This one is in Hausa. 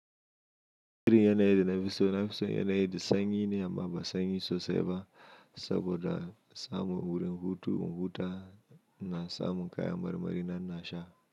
Kirin yana yi da nafi so, nafi so yana yi da sanyi ne amma ba sanyi sosai ba saboda samun wurin hutu, hutawa na samun kaya marmari na nasha.